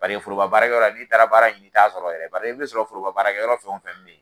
Bari foroba baarakɛ yɔrɔ n'i taara baara ɲini, i t'a sɔrɔ yɛrɛ bari i bɛ min sɔrɔ foroba baarakɛ yɔrɔ fɛn o fɛn bɛ yen.